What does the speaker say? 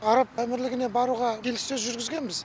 араб әмірлігіне баруға келіссөз жүргізгенбіз